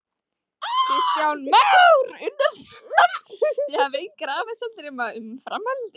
Kristján Már Unnarsson: Þið hafið engar efasemdir um að, um framhaldið?